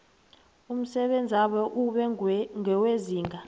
umsebenzabo ube ngewezinga